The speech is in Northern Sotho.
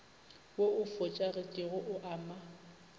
wo o fošagetšego o ama